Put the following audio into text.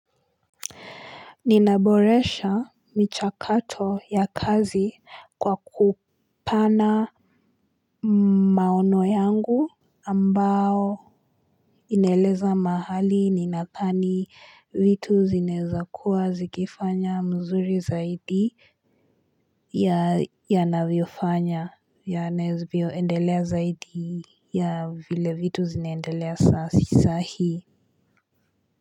Ninaboresha michakato ya kazi kwa kupana maono yangu ambao inaeleza mahali ninadhani vitu zinaeza kuwa zikifanya mzuri zaidi ya yanavyofanya yanavyoendelea zaidi ya vile vitu zinaendelea sahii.